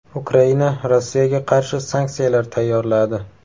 Ukraina Rossiyaga qarshi sanksiyalar tayyorladi.